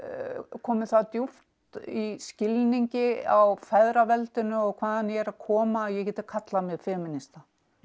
komin það djúpt í skilningi á feðraveldinu og hvaðan ég er að koma að ég geti kallað mig femínista